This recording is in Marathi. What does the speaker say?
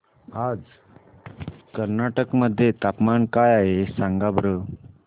आज कर्नाटक मध्ये तापमान काय आहे सांगा बरं